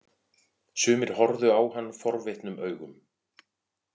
Sumir horfðu á hann forvitnum augum.